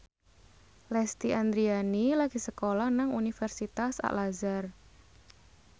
Lesti Andryani lagi sekolah nang Universitas Al Azhar